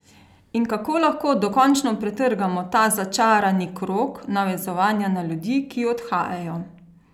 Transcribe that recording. In kako lahko dokončno pretrgamo ta začarani krog navezovanja na ljudi, ki odhajajo?